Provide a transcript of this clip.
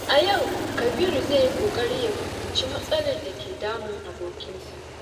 A yau, Kabiru zai yi ƙoƙari ya fahimci matsalar da ke damun abokinsa.